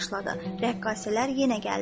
Rəqqasələr yenə gəldilər.